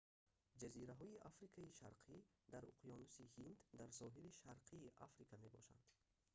ҷазираҳои африкаи шарқӣ дар уқёнуси ҳинд дар соҳили шарқии африка мебошанд